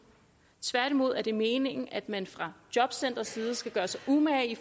tværtimod er det meningen at man fra jobcentrets side skal gøre sig umage